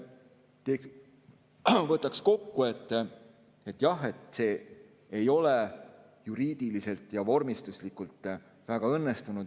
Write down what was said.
Ma võtaks kokku, et jah, see ei ole juriidiliselt ja vormistuslikult väga õnnestunud.